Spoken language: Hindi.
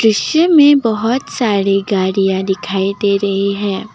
दृश्य में बहुत सारी गाड़ियां दिखाई दे रही हैं।